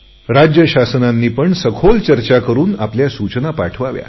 राज्यशासनांनी सखोल चर्चा करुन आपल्या सूचना पाठवाव्या